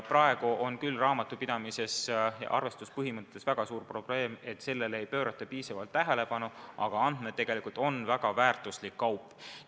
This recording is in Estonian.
Praegu on küll raamatupidamises ja arvestuspõhimõtte puhul väga suur probleem, et sellele ei pöörata piisavalt tähelepanu, aga andmed on tegelikult väga väärtuslik kaup.